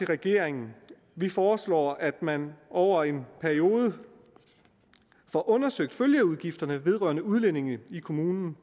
regeringen vi foreslår at man over en periode får undersøgt følgeudgifterne vedrørende udlændinge i kommunerne